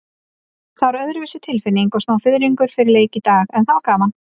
Það var öðruvísi tilfinning og smá fiðringur fyrir leik í dag, en það var gaman.